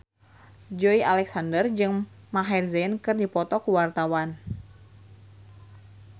Joey Alexander jeung Maher Zein keur dipoto ku wartawan